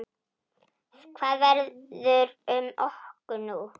Hvað verður um okkur nú?